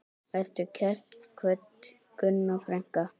Vertu kært kvödd, Gunna frænka.